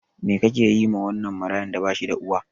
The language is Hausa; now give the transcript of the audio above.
Me kake yiwa wannan marayan da bashida uwa.